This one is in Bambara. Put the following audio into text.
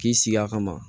K'i sigi a kama